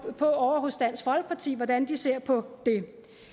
jo ovre hos dansk folkeparti hvordan de ser på det